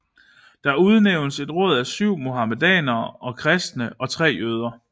Der udnævntes et råd af 7 muhamedanere og kristne og 3 jøder